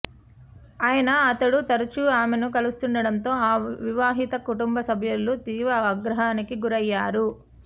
అయిన అతడు తరచూ ఆమెను కలుస్తుండటంతో ఆ వివాహిత కుటుంబ సభ్యులు తీవ్ర ఆగ్రహానికి గురయ్యారు